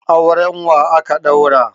Auren wa aka ɗaura?